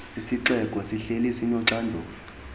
isixeko sihleli sinoxanduva